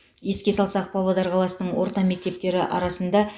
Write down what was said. еске салсақ павлодар қаласының орта мектептері арасында